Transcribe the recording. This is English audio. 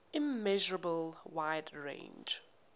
immeasurable wide range